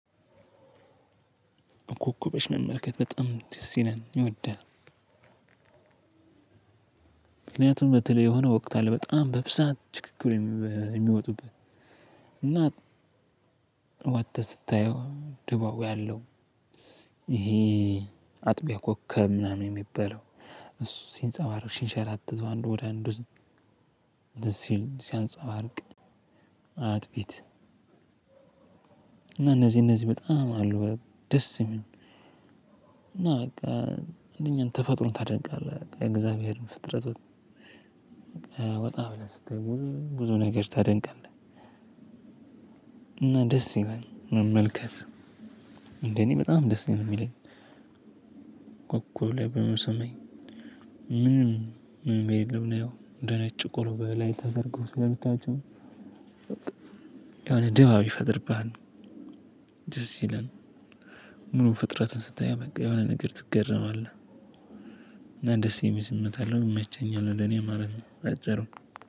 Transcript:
ኮከቦሽ መመልከት በጣም ደስ ይላል። ይወዳል በተለይ የሆነ ወቅት አለ በጣም በብዛት ችክክ ብለው የሚወጡበት እና ወጥተህ ስታየው ድባቡ ያለው። ይሄ አጥቢያ ኮከብ ምናምን የሚባለው እሱ ሲንጸባረቅ ሺህ ሻላት ዘዋንዶ ወደ አንዱ ሲል ሲያንፃርቅ። አጥቢት እና እነዚህ እነዚህ በጣም አሉ ደስ የሚሉ እና በቃ አንደኛ ተፈጥሮን ታደንቃለህ እግዚአብሔርን ፍጥረት። ወጣ ብለህ ስትሄድ ብዙ ብዙ ነገር ታደንቃለህ። እና ደስ ይላል መመልከት እንዴ እኔ በጣም ነው ደስ የሚለኝ። ላይ ብዬ አስባለሁ ምንም ምንም እንደምን ነው እንደኔ ጭቆሮ በላይ ታደርገው ስለምታውቁ የሆነ ድባብ ይፈጥርብሃል። ይላል ምኑ ፍጥረቱን ስታየው የሆነ ነገር ትገረማለህ። እና ደስ የሚል ስሜት አለው ይመቸኛል ይመቸኛል ወደ እኔ ማለት ነው። ባጭሩ